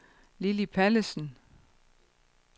Lilli Pallesen